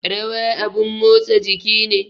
Rawa abun motsa jiki ne